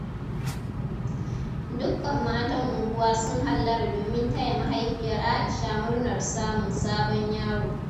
Dukkan matan unguwa sun hallara domin taya mahaifiyar Aisha murnar samun sabon yaro.